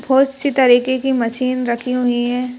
बहुत सी तरीके की मशीन रखी हुई हैं।